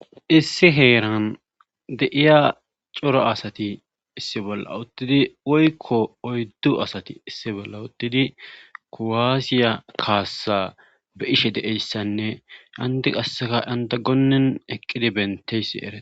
issi heeran deiya coro asati issi bolla uttidi woykko oyddu asati issi bolla uttidi kowaasiya kaassa be ishe de7eyssanne andi qasseka anda gonen eqqidi benteyssi era